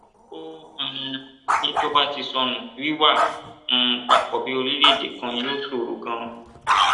ó um ní tó bá ti sọnù wíwà um papọ bíi orílẹèdè kan yóò ṣòro ganan